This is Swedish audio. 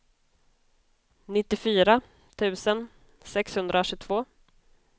nittiofyra tusen sexhundratjugotvå